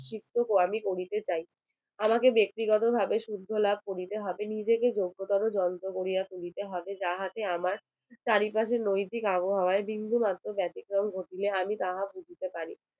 প্রায়শ্চিত্য আমি করিতে চাই আমাকে ব্যাক্তি গত ভাবে শুদ্ধ লাভ করিতে হবে নিজেকে যোগ্য করো যন্ত্র করিয়া তুলিতে হবে যাহাতে আমার চারি পাশের নৈতিক আবহাওয়া বিন্দু মাত্র ব্যাতিক্রম ঘটিলে আমি তাহা বুঝিতে পারি